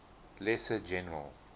lesser general